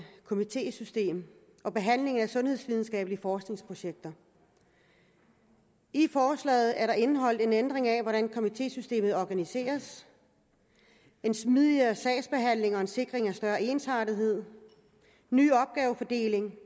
komitésystem og behandlingen af sundhedsvidenskabelige forskningsprojekter i forslaget er der indeholdt en ændring af hvordan komitésystemet organiseres en smidigere sagsbehandling og en sikring af større ensartethed en ny opgavefordeling